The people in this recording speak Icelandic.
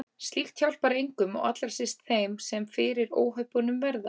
Slíkt hjálpar engum og allra síst þeim sem fyrir óhöppunum verða.